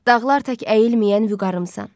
Dağlar tək əyilməyən vüqarımsan.